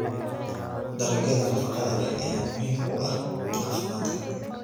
Dalagyada nafaqada leh ayaa muhiim u ah caafimaadka.